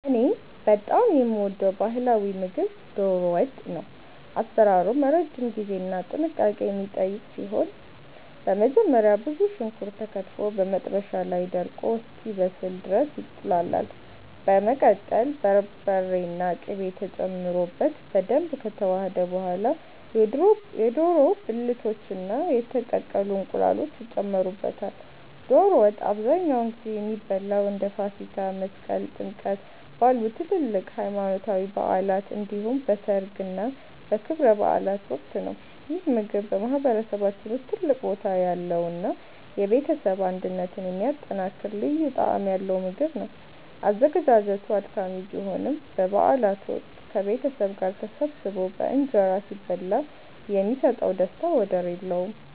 እኔ በጣም የምወደው ባህላዊ ምግብ 'ዶሮ ወጥ' ነው። አሰራሩም ረጅም ጊዜና ጥንቃቄ የሚጠይቅ ሲሆን፣ በመጀመሪያ ብዙ ሽንኩርት ተከትፎ በመጥበሻ ላይ ደርቆ እስኪበስል ድረስ ይቁላላል። በመቀጠል በርበሬና ቅቤ ተጨምሮበት በደንብ ከተዋሃደ በኋላ፣ የዶሮ ብልቶችና የተቀቀሉ እንቁላሎች ይጨመሩበታል። ዶሮ ወጥ አብዛኛውን ጊዜ የሚበላው እንደ ፋሲካ፣ መስቀል እና ጥምቀት ባሉ ትላልቅ ሃይማኖታዊ በዓላት እንዲሁም በሠርግና በክብረ በዓላት ወቅት ነው። ይህ ምግብ በማህበረሰባችን ውስጥ ትልቅ ቦታ ያለውና የቤተሰብን አንድነት የሚያጠናክር ልዩ ጣዕም ያለው ምግብ ነው። አዘገጃጀቱ አድካሚ ቢሆንም፣ በበዓላት ወቅት ከቤተሰብ ጋር ተሰባስቦ በእንጀራ ሲበላ የሚሰጠው ደስታ ወደር የለውም።